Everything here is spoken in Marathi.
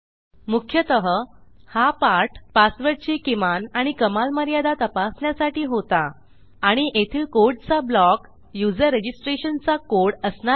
मुख्यतः हा पाठ पासवर्डची किमान आणि कमाल मर्यादा तपासण्यासाठी होता आणि येथील कोडचा ब्लॉक युजर रजिस्ट्रेशनचा कोड असणार आहे